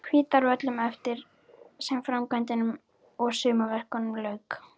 Hvítárvöllum eftir því sem framkvæmdum og sumarverkum lauk.